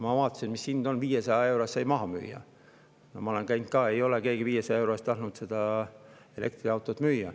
Ma vaatasin, mis hind on: 500 euro eest sai maha müüa, aga keegi ei ole tahtnud 500 euro eest elektriautot müüa.